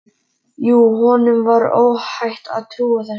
Jú, honum var óhætt að trúa þessu!